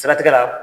Siratigɛ la